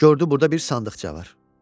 Gördü burda bir sandıqça var.